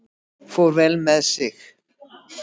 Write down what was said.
Fór vel með sig.